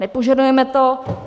Nepožadujeme to.